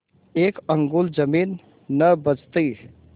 एक अंगुल जमीन न बचती